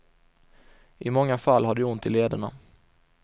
I många fall har de ont i lederna.